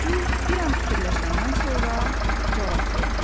Yuxucul bir an fikirləşəndən sonra cavab verdi: